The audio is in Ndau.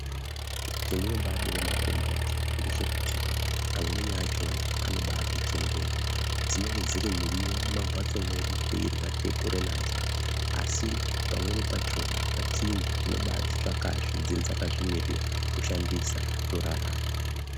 Chandino bai dire makomboti ngechekuti amweni achona anobai tichengeta dzinenge dziri miriwo muma mbatso mwedu teirya tei kure nadzo asi pamweni pachona zvatsinza tinobai dzitsvaka zve dzenge dzakazvi mirira kushandisa torarama.